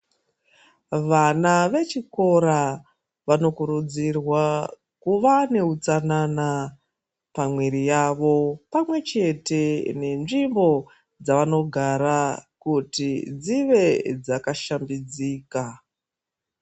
Vana vechikora vanokurudzirwa kuva neutsanana pamwiri yavo pamwechete nenzvimbo dzavanogara kuti dzive dzakashambidzika.